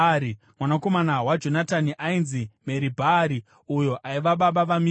Mwanakomana waJonatani ainzi Meribhi-Bhaari uyo aiva baba vaMika.